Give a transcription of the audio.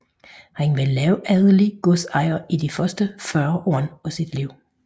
Han var lavadelig godsejer i de første 40 år af sit liv